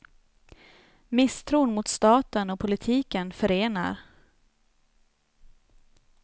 Misstron mot staten och politiken förenar.